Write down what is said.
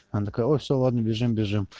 она такая ой все ладно бежим бежим